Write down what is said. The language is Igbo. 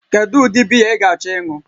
Kedu ụdị biya ị ga-achọ ịṅụ?